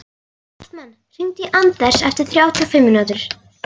Hartmann, hringdu í Anders eftir þrjátíu og fimm mínútur.